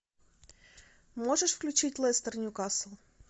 можешь включить лестер ньюкасл